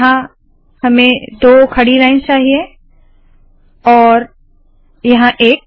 यहाँ हमें दो खड़ी लाइन्स चाहिए और यहाँ एक